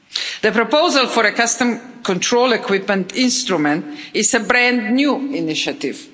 The proposal for a customs control equipment instrument is a brand new initiative.